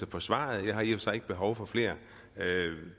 for svaret jeg har i og for sig ikke behov for flere